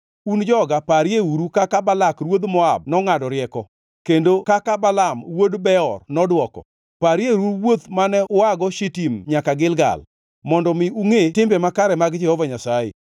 Un joga parieuru kaka Balak ruodh jo-Moab nongʼado rieko, kendo kaka Balaam wuod Beor nodwoko. Parieuru wuoth mane uago Shitim nyaka Gilgal, mondo mi ungʼe timbe makare mag Jehova Nyasaye.”